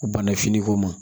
Bana fini ko ma